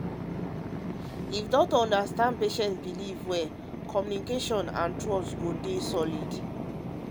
if doctor understand patient belief well belief well communication and trust go dey solid.